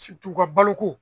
u ka baloko